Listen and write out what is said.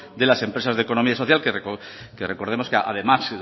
de las empresas de economía social que recordemos que además